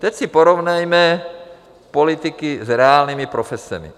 Teď si porovnejme politiky s reálnými profesemi.